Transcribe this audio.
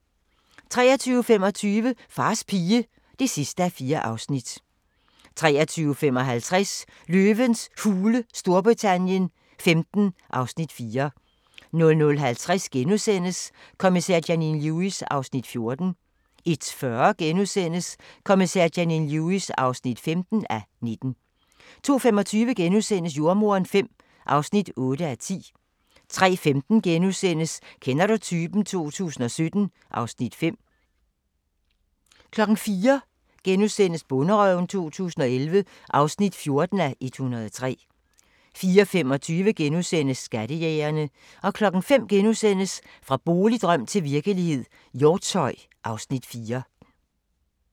23:25: Fars pige (4:4) 23:55: Løvens Hule Storbritannien XV (Afs. 4) 00:50: Kommissær Janine Lewis (14:19)* 01:40: Kommissær Janine Lewis (15:19)* 02:25: Jordemoderen V (8:10)* 03:15: Kender du typen? 2017 (Afs. 5)* 04:00: Bonderøven 2011 (14:103)* 04:25: Skattejægerne * 05:00: Fra boligdrøm til virkelighed – Hjortshøj (Afs. 4)*